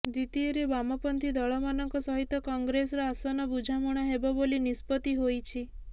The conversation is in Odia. ଦ୍ୱିତୀୟରେ ବାମ ପନ୍ଥୀ ଦଳମାନଙ୍କ ସହିତ କଂଗ୍ରେସର ଆସନ ବୁଝାମଣା ହେବ ବୋଲି ନିଷ୍ପତ୍ତି ହୋଇଛି